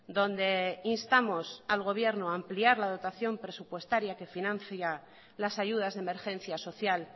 donde instamos al gobierno ampliar la dotación presupuestaria que financia las ayudas de emergencia social